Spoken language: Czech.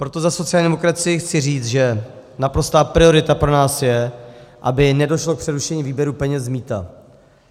Proto za sociální demokracii chci říct, že naprostá priorita pro nás je, aby nedošlo k přerušení výběru peněz z mýta.